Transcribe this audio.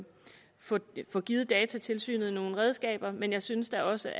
få få givet datatilsynet nogle redskaber men jeg synes da også